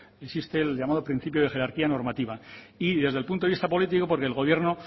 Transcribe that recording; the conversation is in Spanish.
existe el llamado principio de jerarquía normativa y desde el punto de vista político porque el gobierno